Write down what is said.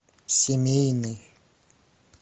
семейный